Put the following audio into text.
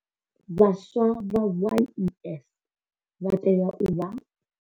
Vhaswa vha YES vha tea u vha.